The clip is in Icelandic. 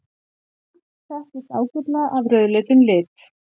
Mars þekkist ágætlega af rauðleitum lit.